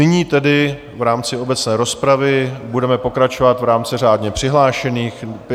Nyní tedy v rámci obecné rozpravy budeme pokračovat v rámci řádně přihlášených.